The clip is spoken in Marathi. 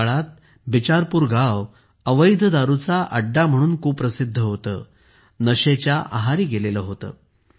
त्या काळात बिचारपूर गाव अवैध दारूचा अड्डा म्हणून कुप्रसिद्ध होते नशेच्या आहारी गेले होते